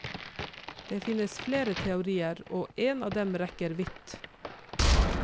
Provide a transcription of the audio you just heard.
Det finnes flere teorier, og en av dem rekker vidt.